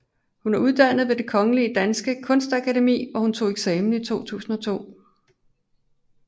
Hun er uddannet ved det Det Kongelige Danske Kunstakademi hvor hun tog eksamen i 2002